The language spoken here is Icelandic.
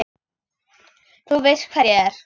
Þú veist hver ég er.